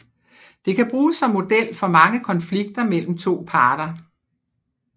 Det kan bruges som model for mange konflikter mellem to parter